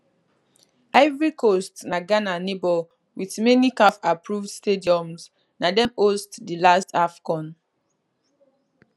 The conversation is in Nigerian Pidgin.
ivory coast na ghana neighbour wit many cafapproved stadiums na dem host di last afcon